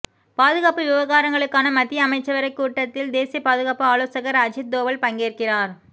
பாதுகாப்பு விவகாரங்களுக்கான மத்திய அமைச்சரவை கூட்டத்தில் தேசிய பாதுகாப்பு ஆலோசகர் அஜித் தோவல் பங்கேற்கிறார்